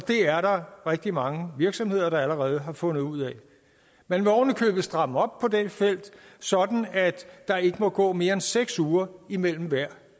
er der rigtig mange virksomheder der allerede har fundet ud af man vil ovenikøbet stramme op på dette felt sådan at der ikke må gå mere end seks uger imellem hver